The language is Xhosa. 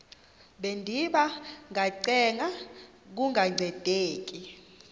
bendiba ngacenga kungancedi